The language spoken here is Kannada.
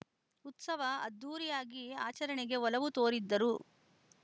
ಉತ್ಸವ ಅದ್ಧೂರಿಯಾಗಿ ಆಚರಣೆಗೆ ಒಲವು ತೋರಿದ್ದರು